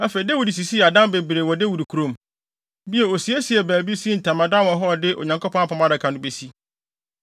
Afei, Dawid sisii adan bebree wɔ Dawid kurom. Bio, osiesiee baabi, sii ntamadan wɔ hɔ a ɔde Onyankopɔn Apam Adaka no besi.